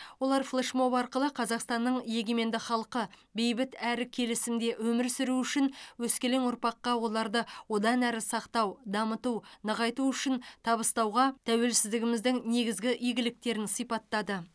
олар флешмоб арқылы қазақстанның егеменді халқы бейбіт әрі келісімде өмір сүруі үшін өскелең ұрпаққа оларды одан әрі сақтау дамыту нығайту үшін табыстауға тәуелсіздігіміздің негізгі игіліктерін сипаттады